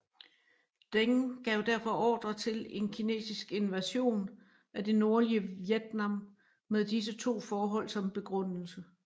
Deng gav derfor ordre til en kinesisk invasion af det nordlige Vietnam med disse to forhold som begrundelse